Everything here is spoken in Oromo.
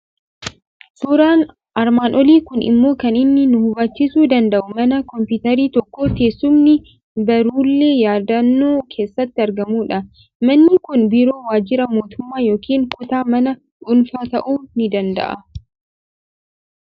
Suuraan armaan olii kun immoo kan inni nu hubachiisuu danda'u, mana kompiitarri tokko, teessumni, baruulee yaadannoo keessatti argamudha. Manni kun biiroo waajjira mootummaa yookiin kutaa mana dhuunfaa ta'uu ni danda'a.